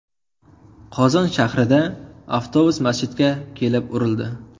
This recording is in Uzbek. Qozon shahrida avtobus masjidga kelib urildi.